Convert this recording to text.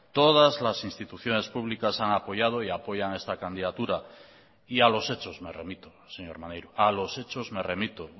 todas las instituciones públicas han apoyado y apoyan esta candidatura y a los hechos me remito señor maneiro a los hechos me remito